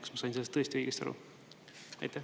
Kas ma sain sellest tõesti õigesti aru?